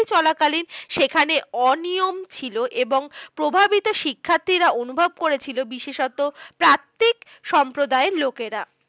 চলাকালীন সেখানে অনিয়ন ছিল এবং প্রভাবিত শিক্ষার্থীরা অনুভব করেছিল, বিশেষত প্রান্তিক সম্প্রদায়ের লোকেরা।